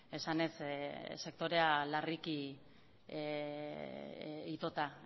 esanez sektorea larriki itota